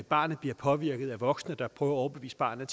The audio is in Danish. barnet bliver påvirket af voksne der prøver at overbevise barnet